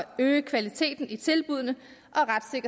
øge kvaliteten i tilbuddene